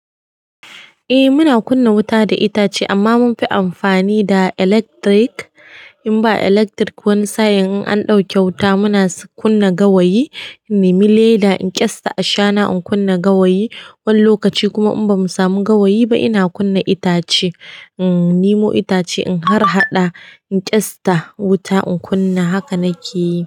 Eh muna kunna wuta da itace amma munfi amfani da electric. In ba electric wani sa'in in an ɗauke wuta muna kunna gawayi. In nemi leda in kyasta a shana in kunna gawayi. Wani lokaci kuma in bamu samu gawayi ba ina kunna itace. In nemo itace inharhaɗa in kyasta wuta in kunna. Haka na ke yi.